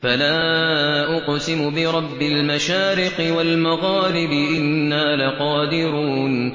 فَلَا أُقْسِمُ بِرَبِّ الْمَشَارِقِ وَالْمَغَارِبِ إِنَّا لَقَادِرُونَ